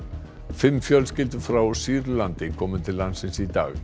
fimm fjölskyldur frá Sýrlandi komu til landsins í dag